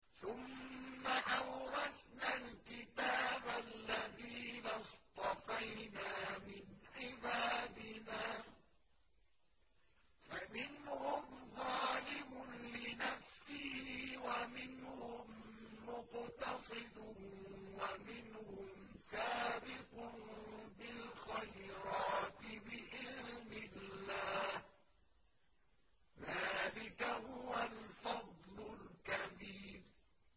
ثُمَّ أَوْرَثْنَا الْكِتَابَ الَّذِينَ اصْطَفَيْنَا مِنْ عِبَادِنَا ۖ فَمِنْهُمْ ظَالِمٌ لِّنَفْسِهِ وَمِنْهُم مُّقْتَصِدٌ وَمِنْهُمْ سَابِقٌ بِالْخَيْرَاتِ بِإِذْنِ اللَّهِ ۚ ذَٰلِكَ هُوَ الْفَضْلُ الْكَبِيرُ